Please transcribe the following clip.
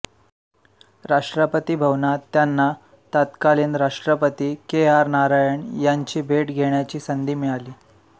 राष्ट्रपती भवनात त्यांना तत्कालीन राष्ट्रपती केआर नारायणन यांची भेट घेण्याची संधी मिळाली